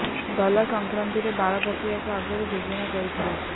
ଗଲା ସଂକରାନ୍ତିରେ ବାଳ ପକେଇବାକୁ ଆଗରୁ ଯୋଜନା କରିଥିଲା ସେ